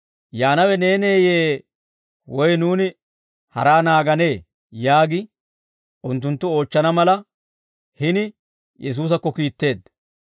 «Yaanawe neeneeyye? Woy nuuni haraa naaganee?» yaagi, unttunttu oochchana mala hini Yesuusakko kiitteedda.